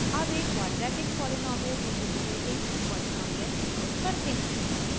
अब एक quadratic polynomial interpolating polynomial उपयोग करते हैं